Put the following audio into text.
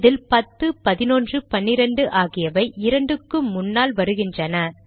இதில் பத்து பதினொன்று பன்னிரண்டு ஆகியவை இரண்டுக்கு முன்னால் வருகின்றன